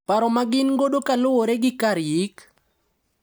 Paro magin godo kaluwore gi kar yik,